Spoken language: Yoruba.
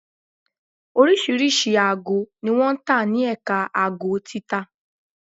Oríṣiríṣi aago ni wọn ń tà ní Ẹ̀ka aago títa